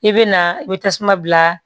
I bɛ na i bɛ tasuma bila